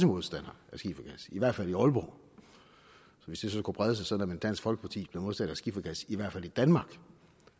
modstander af skifergas i hvert fald i aalborg hvis det så kunne brede sig sådan at dansk folkeparti blev modstander af skifergas i hvert fald i danmark